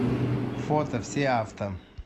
фото все авто